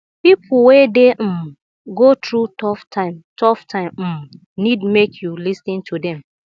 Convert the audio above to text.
pipo wey dey um go thru tough time tough time um nid mek yu lis ten to them